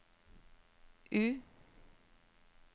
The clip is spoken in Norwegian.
U